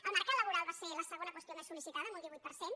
el mercat laboral va ser la segona qüestió més sol·licitada amb un divuit per cent